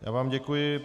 Já vám děkuji.